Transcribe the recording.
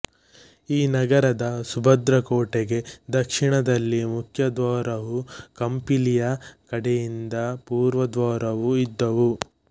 ಈ ನಗರದ ಸುಭದ್ರಕೋಟೆಗೆ ದಕ್ಷಿಣದಲ್ಲಿ ಮುಖ್ಯದ್ವಾರವೂ ಕಂಪಿಲಿಯ ಕಡೆಯಿಂದ ಪೂರ್ವದ್ವಾರವೂ ಇದ್ದುವು